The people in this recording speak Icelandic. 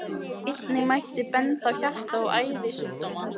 Einnig mætti benda á hjarta- og æðasjúkdóma.